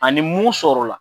Ani ni mun sɔrɔla.